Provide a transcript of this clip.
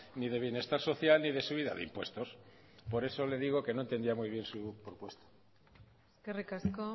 ni de bienestar social ni de subida de impuestos por eso le digo que no entendía muy bien su propuesta eskerrik asko